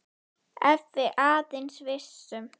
Ef við aðeins vissum.